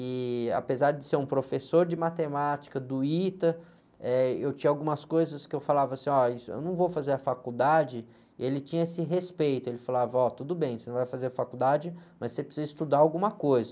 E, apesar de ser um professor de matemática do ITA, eh, eu tinha algumas coisas que eu falava assim, ó, eu não vou fazer a faculdade, ele tinha esse respeito, ele falava, ó, tudo bem, você não vai fazer a faculdade, mas você precisa estudar alguma coisa.